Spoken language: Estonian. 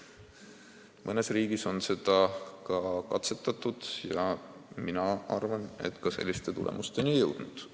Mõnes riigis on seda katsetatud ja mina arvan, et just selliste tulemusteni jõutud.